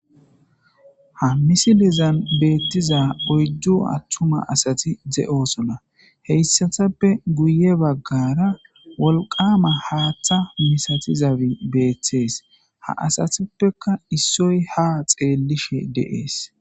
Ha misiilezan betiiza oyddu attumma assati de'oosona hessattappe guye baggara wolqama haaththa missatiizabi betees ha aasattufeka issoy ha xeellishshe de'ees